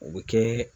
O bɛ kɛ